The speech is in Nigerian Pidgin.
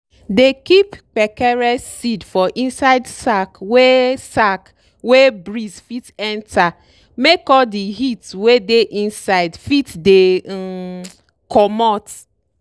dey keep kpekere seed for inside sack wey sack wey breeze fit enter make all de heat wey dey inside fit dey um comot.